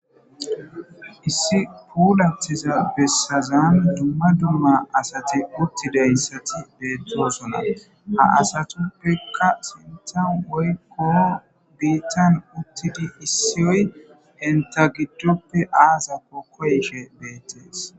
Issi puulattiza bessazan dumma dumma asati uttidayssati beettoosona ha asatuppekka sintan woykko biittan uttidi issiyoy enta giddoppe aazakko koyshe beettees.